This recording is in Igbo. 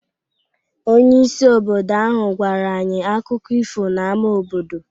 Onyeisi obodo ahụ gwara anyị akụkọ ifo n’ámá obodo.